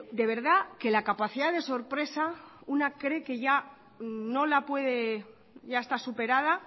de verdad que la capacidad de sorpresa una cree que ya no la puede ya está superada